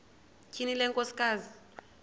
tyhini le nkosikazi